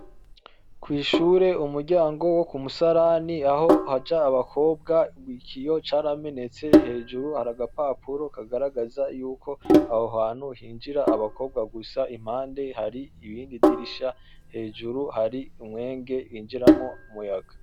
Kw'ishure aho umuryango wo k'umusarani ahaja abakobwa ikiyo caramenetse, hejuru hr'agapapuro kagaragaza ko aho hantu hinjira abakobwa gusa, impande har'irindi dirisha, hajuru hari umweñe winjiramwo umuyaga.